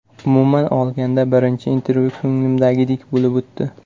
Umuman olganda, birinchi intervyu ko‘nglimdagidek bo‘lib o‘tdi.